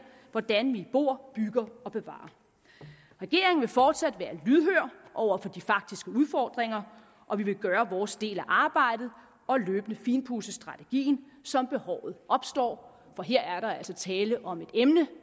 hvordan vi bor bygger og bevarer regeringen vil fortsat være lydhør over for de faktiske udfordringer og vi vil gøre vores del af arbejdet og løbende finpudse strategien som behovet opstår for her er der altså tale om et emne